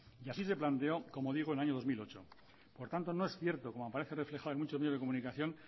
y así se planteó como digo en el dos mil ocho por tanto no es cierto como aparece reflejado en muchos medios de comunicación